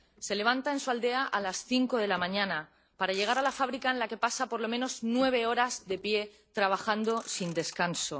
Se levanta, en su aldea, a las cinco de la mañana, para llegar a la fábrica en la que pasa, por lo menos, nueve horas de pie, trabajando sin descanso.